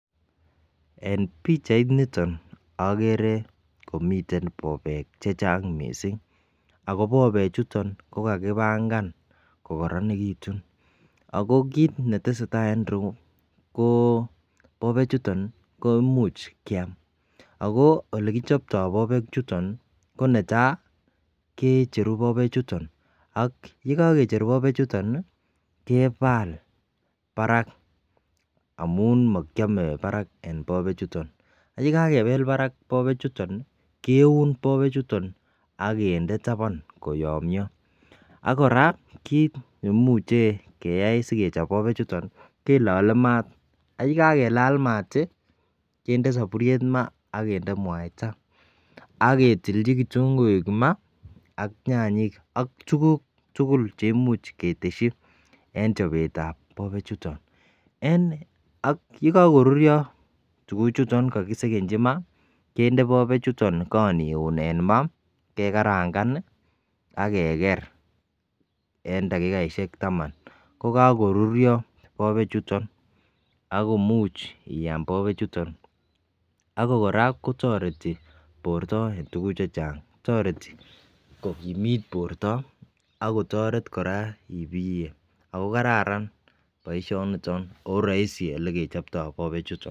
En pichainiton okere komiten bobek chechang missing ako bobek chuton ko kakipangan ko koronekitun ako kit netesetai en irou ko bobek chuton ko imuch kiam ako olekichoptoo bobek chuton ko netai kecheru bobek chuton ak yekokicher bobek chuton nii kebal barak amun mokiome barak en bobek chutok ak yekakebel barak bobek chuton keun bobek chuton ak kinde taban koyomyo. AK Koraa kit neimuche keyai sikechop bobek chuton kilole maat ak yekakelal mat tii kinde soburyet maa akinde muaita ak ketilchi ketunguuk maat ak nyanyik ak tukuk tukul che imuch keteshi en chobetab bobek chuton. En ak yekokoruryo tukuk chuton kokisekenchi n maa kende bobek chuton Karan iun en maa ak kekaranga ak Keker en takikaishek taman ko kokoruryo bobek chuton ak komuch iam bobek chuton ak Koraa kotoreti borto en tukuk che chang. Toreti kokimit borto ak kotoret Koraa ibiye ako kararan boishoniton oroisi elekechiptoo bobek chuton.